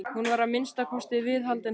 Hún var að minnsta kosti viðhaldið hans.